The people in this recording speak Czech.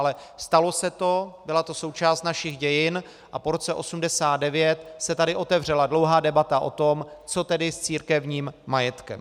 Ale stalo se to, byla to součást našich dějin a po roce 1989 se tady otevřela dlouhá debata o tom, co tedy s církevním majetkem.